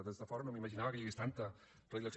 des de fora no m’imaginava que hi hagués tanta predilecció